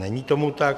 Není tomu tak.